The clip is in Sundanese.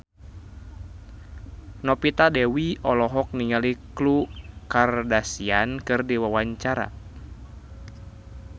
Novita Dewi olohok ningali Khloe Kardashian keur diwawancara